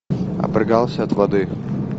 обрыгался от воды